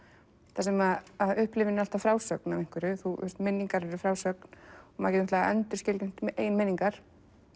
þar sem upplifun er alltaf frásögn af einhverju minningar eru frásögn maður getur endurskilgreint eigin minningar